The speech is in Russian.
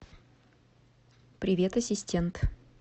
привет ассистент